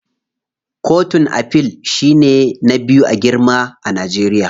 Kotun Afil shine ba biyu a girma a Najeriya.